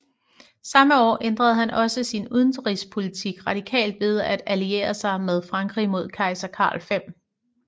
Samme år ændrede han også sin udenrigspolitik radikalt ved at alliere sig med Frankrig mod kejser Karl 5